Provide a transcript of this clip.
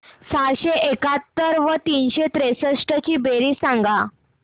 सहाशे एकाहत्तर व तीनशे त्रेसष्ट ची बेरीज सांगा